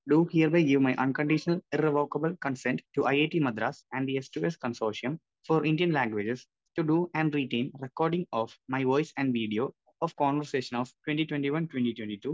speaker 1 do hereby give my unconditional irrevocable consent to IIT Madras and സ്‌2സ്‌ consortium for Indian languages to do and written recording of my voice and video of conversation of 2021-2022